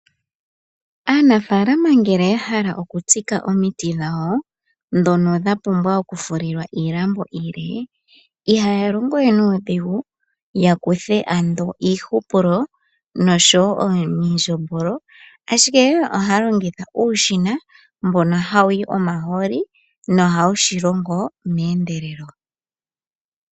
Aanafaalama ngele ya hala oku tsika omiti dhawo , ndhono dha pumbwa oku fulilwa iilambo iile , ihaya longo wee nuudhigu ya kuthe ando iihupulo nosho woo omindjombolo, ashike ohaya longitha uushina mbono ha wuyi omahooli no ohau shi longo meendelelo .